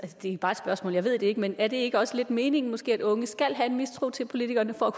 det er bare et spørgsmål jeg ved det ikke men er det ikke også lidt meningen måske at unge skal have en mistro til politikerne for at